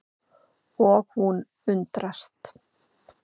Og hún undrast.